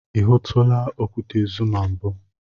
I hụtụla okwute Zuma mbụ?